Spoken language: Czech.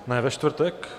Ne, ve čtvrtek?